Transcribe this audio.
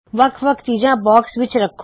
ਵੱਖ ਵੱਖ ਚੀਜਾਂ ਬਾਕਸ ਵਿੱਚ ਰੱਖੋ